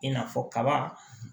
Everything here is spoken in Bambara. I n'a fɔ kaba